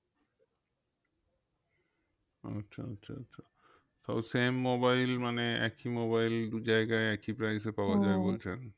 আচ্ছা আচ্ছা আচ্ছা তাও same mobile মানে একই mobile দু জায়গায় একই price এ পাওয়া বলছেন